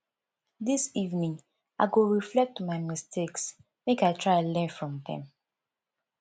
dis evening i go reflect on my mistakes make i try learn from dem